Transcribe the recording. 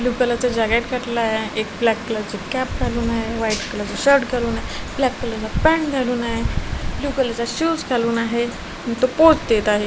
Blue colour चा jacket घातलेल आहे एक ब्लॅक कलर ची कॅप घालून आहे व्हाईट कलर चा शर्ट घालून आहे ब्लॅक कलर चा पॅन्ट घालून आहे ब्ल्यू कलर चा शूज घालून आहे आणि तो पोज देत आहे.